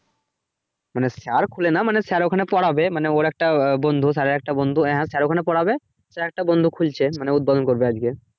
মানে sir খুলে নাই, মানে sir ওখানে পড়াবে মানে ওর একটা আহ বন্ধু sir এর একটা বন্ধু হ্যা sir ওখানে পড়াবে তো একটা বন্ধু খুলছে মানে উদ্বোধন করবে আজকে।